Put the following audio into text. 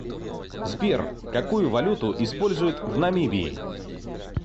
сбер какую валюту используют в намибии